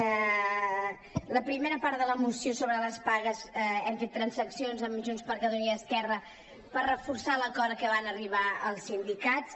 a la primera part de la moció sobre les pagues hem fet transaccions amb junts per catalunya i esquerra per reforçar l’acord a què van arribar els sindicats